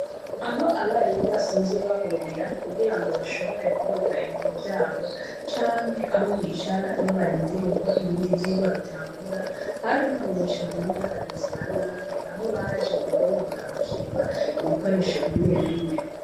Aho abarimu basanzwe bahurira kugira bashobore kubika ibintu vyabo canke aho bicara iyo barindiriye ko ibindi vyigwa bitangura harononywe cane n'abagizi ba nabi aho baje kubomora bakiba ibikoresho bimwe bimwe .